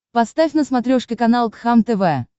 поставь на смотрешке канал кхлм тв